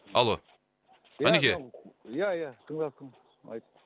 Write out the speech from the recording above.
алло ғанеке ия ия тыңдап тұрмын айт